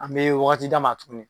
An bɛ waati d'a ma tuguni.